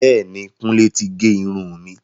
Bẹẹni, Kùnlé ti gé irun mi.